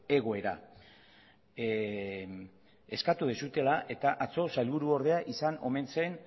egoera eskatu duzuela eta atzo sailburuordea izan omen zen